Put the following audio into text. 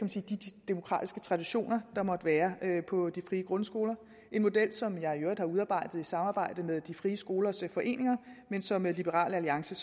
demokratiske traditioner der måtte være på de frie grundskoler det en model som jeg i øvrigt har udarbejdet i samarbejde med de frie skolers foreninger men som liberal alliance